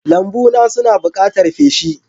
Lambuna suna buƙatar feshi.